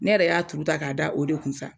Ne yɛrɛ y'a tuuru ta k'a da o de kun sa